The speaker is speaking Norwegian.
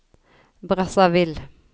Brazzaville